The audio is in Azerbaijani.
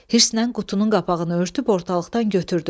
Hirslə qutunun qapağını örtüb ortalıqdan götürdüm.